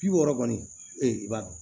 Bi wɔɔrɔ kɔni ee i b'a dɔn